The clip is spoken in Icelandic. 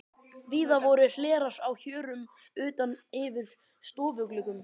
Víða voru hlerar á hjörum utan yfir stofugluggum.